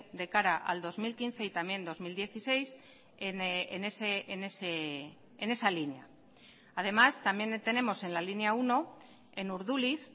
de cara al dos mil quince y también dos mil dieciséis en esa línea además también tenemos en la línea uno en urduliz